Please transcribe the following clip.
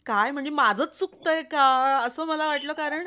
काय माझंच चुकतंय का असं मला वाटलं कारण